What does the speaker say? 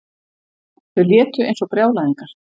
Þau létu eins og brjálæðingar.